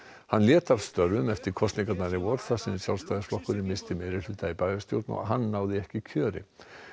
hann lét af störfum eftir kosningarnar í vor þar sem missti meirihluta í bæjarstjórn og hann náði ekki kjöri